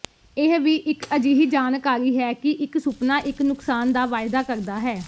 ਇਹ ਵੀ ਇੱਕ ਅਜਿਹੀ ਜਾਣਕਾਰੀ ਹੈ ਕਿ ਇੱਕ ਸੁਪਨਾ ਇੱਕ ਨੁਕਸਾਨ ਦਾ ਵਾਅਦਾ ਕਰਦਾ ਹੈ